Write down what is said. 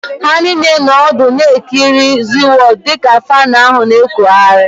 Ha niile nọ ọdụ na-ekiri ZịWọọdụ dịka faanụ ahụ na-ekụghari